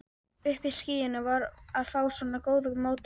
Uppi í skýjunum að fá svona góðar móttökur.